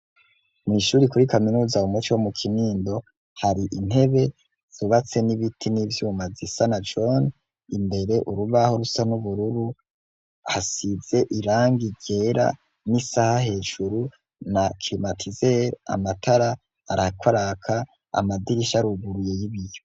Mw'ishuri kuri kaminuza wu muci wo mu kinindo hari intebe zubatse n'ibiti n'ivyuma zisanajoni imbere urubaho rusa n'ubururu hasize iranga ryera n'isaha hejuru na krimatizeri amatara arakwaraka amadirisha ruguruye y'ibiyo.